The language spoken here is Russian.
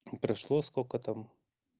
прошло сколько там